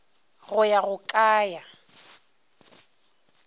go ya go ka ya